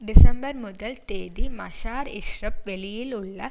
December முதல் தேதி மஸார் இஷரீப் வெளியிலுள்ள